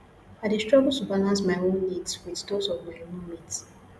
i dey struggle to balance my own needs with those of my roommate